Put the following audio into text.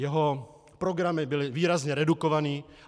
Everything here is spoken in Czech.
Jeho programy byly výrazně redukovány.